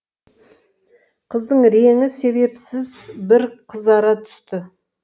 қыздың реңі себепсіз бір қызара түсті